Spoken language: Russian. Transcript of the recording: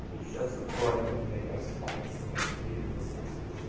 сейчас-то коллайдер блять просыпается блять или таскать это все